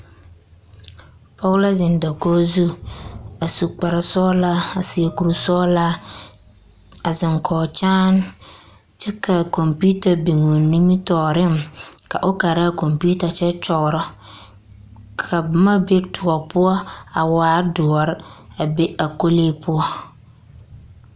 Pͻge la zeŋe dakogi zu, a su kpare sͻgelaa a seԑ kuri sͻgelaa a zeŋe kͻge kyaane kyԑ ka a kͻmpiita be o nimitͻͻreŋ ka o kaara a kͻmpiita kyԑ kyͻgerͻ. Ka boma be toͻ poͻ a waa dõͻre a be a kolee poͻ.